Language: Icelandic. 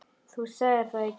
Þú sagðir það í gær.